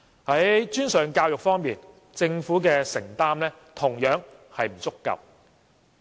在專上教育方面，政府的承擔同樣不足夠。